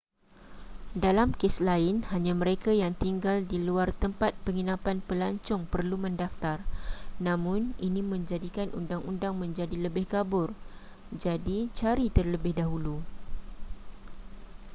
dalam kes lain hanya mereka yang tinggal di luar tempat penginapan pelancong perlu mendaftar namun ini menjadikan undang-undang menjadi lebih kabur jadi cari terlebih dahulu